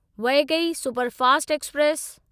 Vaigai superfast express